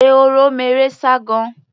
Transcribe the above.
ehoro meré sá gan-an.